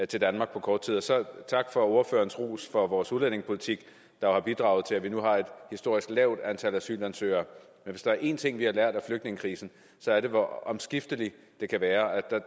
til danmark på kort tid og tak for ordførerens ros for vores udlændingepolitik der har bidraget til at vi nu har et historisk lavt antal asylansøgere men hvis der er en ting vi har lært af flygtningekrisen er det hvor omskifteligt det kan være